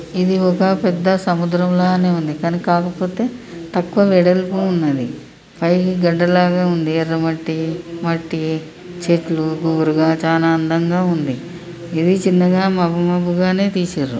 ఇది ఒక పెద్ద సముద్రంలనే ఉంది. కాని కాకపోతే తక్కువ వెడల్పు ఉన్నది. పైకి గడ్డ లాగా ఉంది .ఎర్ర మట్టి మట్టి చెట్లు గుబురుగా చానా అందంగా ఉంది. ఇది చిన్నగా మబ్బు మబ్బు గానే తీశారు.